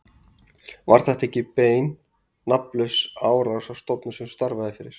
Var þetta ekki bein nafnlaus árás á stofnun sem þú starfaðir fyrir?